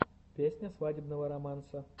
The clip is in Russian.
песня свадебного романса